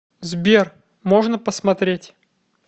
сбер можно посмотреть